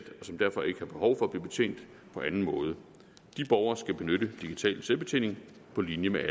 som derfor ikke har behov for at blive betjent på anden måde de borgere skal benytte digital selvbetjening på linje med